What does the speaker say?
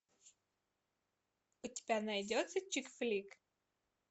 у тебя найдется чик флик